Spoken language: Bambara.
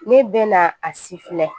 Ne bɛna a si filɛ